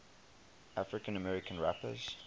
african american rappers